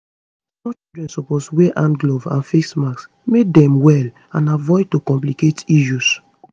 small children suppose wear hand gloves and face masks make dem well and avoid to complicate issues